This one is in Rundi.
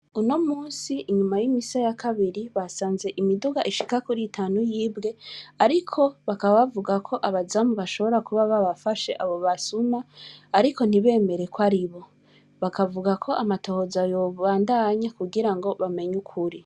Uno munsi inyuma y' imisa ya kabiri, basanze imiduga ishika kuri itanu yibwe. Ariko bakavuga ko abazamu boba babafashe abo basuma, ariko ntimere ko aribo. Bakavuga ko amatohoza yobandanya kugirango bamenye ukuri.